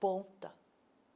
Ponta.